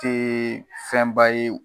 Te fɛnba ye